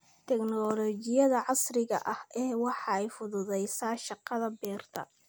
Tiknoolajiyada casriga ahi waxay fududaysaa shaqada beerta.